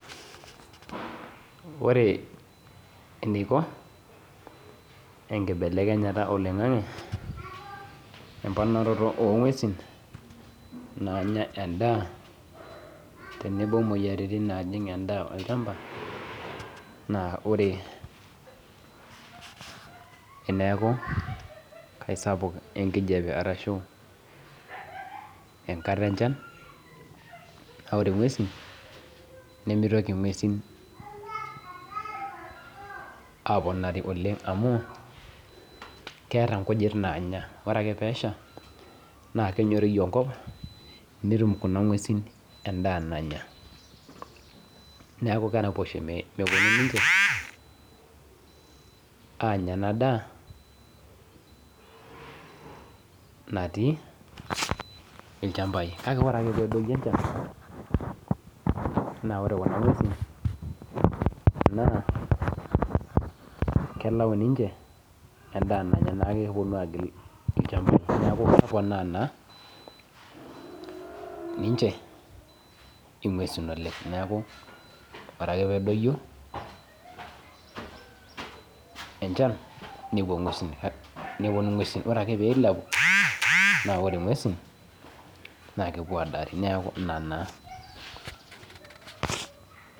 Ore eneiko enkibelekenyata oloing'ang'e emponaroto oong'uesin naanya endaa tenebo muoyaritin naajing' endaa olchamba naa ore eneaku kaisapuk enkijape arashu enkata enchan naore ng'uesin nemeitoki ng'uesin aponari oleng' amu keeta nkujit naanya amu kore ake peesha naake enyoriju enkop, netum kuna ng'uesin endaa nanya neaku keraposho mepuonu ninche aanya ena daa natii ilchambai. Kake ore ake peedoyo enchan naa ore kuna ng'uesin naa kelau ninche endaa naanya neaku epuonu agil ilchambai neaku keponaa naa ninche ing'uesin oleng'. Neaku ore ake peedoyo enchan nepuo ng'uesin, nepuonu ng'uesin ore ake peeilepu naa ore ng'uesin naakepuo aadari neaku ina naa.